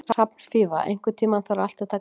Hrafnfífa, einhvern tímann þarf allt að taka enda.